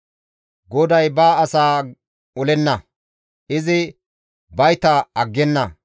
GODAY ba asaa olenna; izi bayta aggenna.